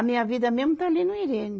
A minha vida mesmo está ali no Irene.